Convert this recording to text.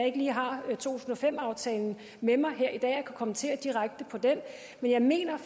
ikke lige har to tusind og fem aftalen med mig her i dag og kan kommentere direkte på den men jeg mener